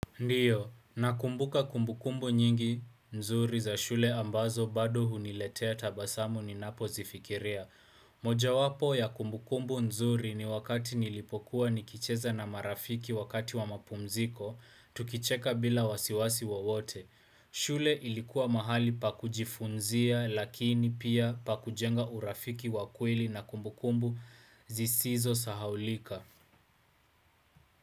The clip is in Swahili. Ndio, nakumbuka kumbukumbu nyingi nzuri za shule ambazo bado huniletea tabasamu ninapo zifikiria. Moja wapo ya kumbukumbu nzuri ni wakati nilipokuwa nikicheza na marafiki wakati wa mapumziko, tukicheka bila wasiwasi wa wote. Shule ilikuwa mahali pa kujifunzia lakini pia pa kujenga urafiki wakweli na kumbukumbu zisizo sahaulika.